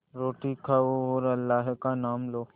रोटी खाओ और अल्लाह का नाम लो